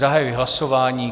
Zahajuji hlasování.